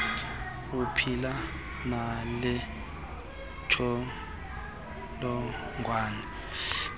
uphila nale ntsholongwane